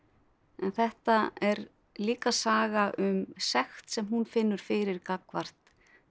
en þetta er líka saga um sekt sem hún finnur fyrir gagnvart